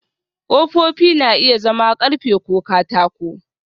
Ƙofofi na iya zama ƙarfe ko katako